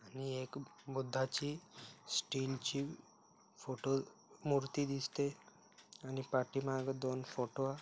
आणि एक बुद्धाची स्टील ची फोटो मूर्ति दिसते आणि पाठी माघे दोन फोटो --